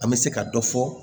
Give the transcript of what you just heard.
An bɛ se ka dɔ fɔ